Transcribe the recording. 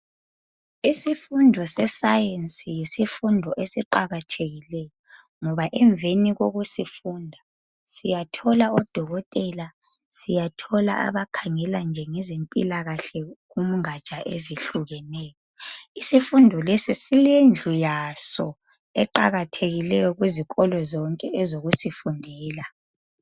isifundo se science yisifundo esiqakathekileyo ngoba emveni kokusifunda siyathola odokotela siyathola abakhangela nje ngezempilakahle kungatsha ezihukeneyo isifundo lesi silendlu yaso eqkathekile kuzikolo zonke ezokusifundela